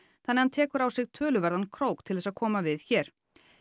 þannig að hann tekur á sig töluverðan krók til að koma við hér